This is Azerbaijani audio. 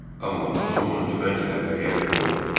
Amma atam onu tüfənglə hədələyərək qovdu.